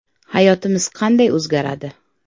Hayotimiz qanday o‘zgaradi?.